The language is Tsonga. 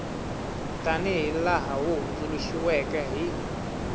tanihi laha wu hundzuluxiweke hi